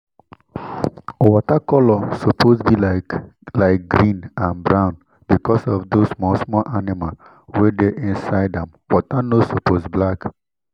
water color suppose [ be like like green and brown because of those small small animal wey dey inside am water no suppose black